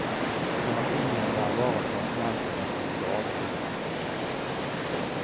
Terapien der var at pasientene skulle grave i jorden.